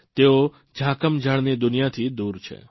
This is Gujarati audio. તેઓ ઝાકઝમાળની દુનિયાથી દૂર છે